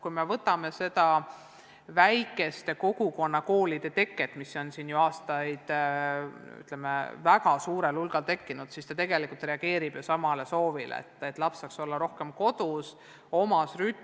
Kui me vaatame väikesi kogukonnakoole, mida on aastate jooksul väga suurel hulgal tekkinud, siis need on ju tegelikult reaktsioon sellelesamale soovile, et laps saaks olla rohkem kodus, tegutseda omas rütmis.